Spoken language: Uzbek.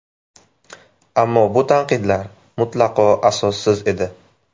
Ammo bu tanqidlar mutlaqo asossiz edi.